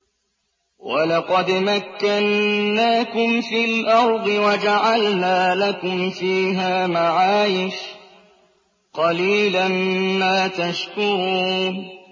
وَلَقَدْ مَكَّنَّاكُمْ فِي الْأَرْضِ وَجَعَلْنَا لَكُمْ فِيهَا مَعَايِشَ ۗ قَلِيلًا مَّا تَشْكُرُونَ